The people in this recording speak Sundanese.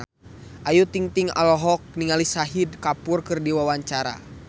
Ayu Ting-ting olohok ningali Shahid Kapoor keur diwawancara